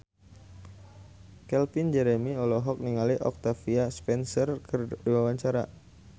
Calvin Jeremy olohok ningali Octavia Spencer keur diwawancara